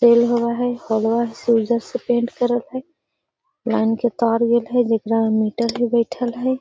तेल होवा हई हॉलवा से ओइजा से पेंट करल हई | लाइन के तार गेल हई जेकरा में मीटर हई बइठल हई |